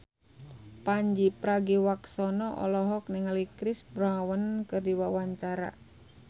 Pandji Pragiwaksono olohok ningali Chris Brown keur diwawancara